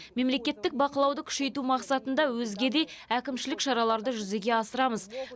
мемлекеттік бақылауды күшейту мақсатында өзге де әкімшілік шараларды жүзеге асырамыз